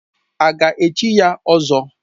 A ga-echi ya ỌZỌ?